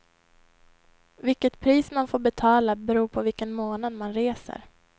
Vilket pris man får betala beror på vilken månad man reser.